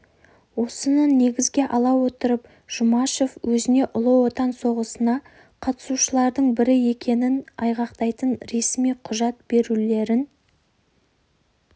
осыны негізге ала отырып жұмашев өзіне ұлы отан соғысына қатысушылардың бірі екенін айғақтайтын ресми құжат берулерін